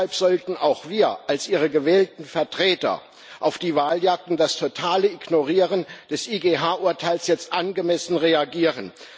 deshalb sollten auch wir als ihre gewählten Vertreter auf die Waljagd und das totale Ignorieren des IGH Urteils jetzt angemessen reagieren.